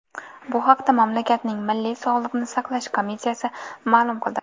Bu haqda mamlakatning Milliy sog‘liqni saqlash komissiyasi ma’lum qildi .